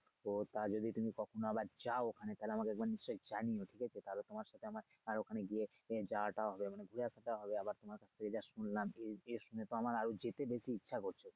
তো তা যদি তুমি কখনো আবার যাও ওখানে তাহলে আমাকে একবার নিশ্চয়ই জানিয়ো ঠিক আছে। তাহলে তোমার সাথে আমার আর ওখানে গিয়ে আহ যাওয়াটাও হবে মানে দেখা সাক্ষাত হবে। তোমার কাছে শুনলাম এই শুনে তো আমার আরো যেতে বেশি ইচ্ছে করছে।